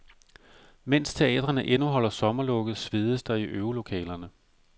Mens teatrene endnu holder sommerlukket svedes der i øvelokalerne.